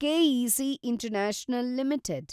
K A C international limited